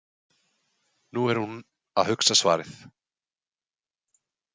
Nú er hún að hugsa svarið.